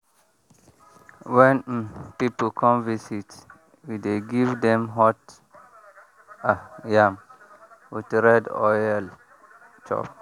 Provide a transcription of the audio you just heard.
when um people come visit we dey give dem hot um yam with red oil chop.